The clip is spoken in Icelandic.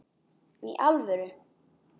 Í alvöru!?